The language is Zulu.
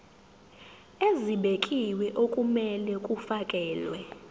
ezibekiwe okumele kufakelwe